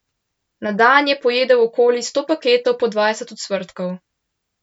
Na dan je pojedel okoli sto paketkov po dvajset ocvrtkov.